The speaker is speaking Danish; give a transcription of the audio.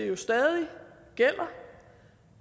jo stadig gælder